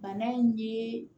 Bana in ye